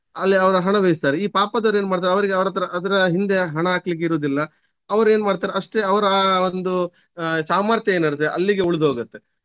ಅಲ್ಲಿಅವರು ಹಣ ವ್ಯಯಿಸ್ತಾರೆ ಈ ಪಾಪದವರು ಏನು ಮಾಡ್ತಾರೆ ಅವರಿಗೆ ಅವರತ್ರ ಅದ್ರ ಹಿಂದೆ ಹಣ ಹಾಕ್ಲಿಕ್ಕಿರುದಿಲ್ಲ ಅವರು ಏನ್ ಮಾಡ್ತಾರೆ ಅಷ್ಟೇ ಅವರ ಆ ಒಂದು ಆಹ್ ಸಾಮಥ್ಯ ಏನಿರ್ತದೆ ಅಲ್ಲಿಗೆ ಉಳ್ದೋಗುತ್ತೆ.